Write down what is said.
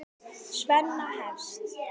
Svenna hefst.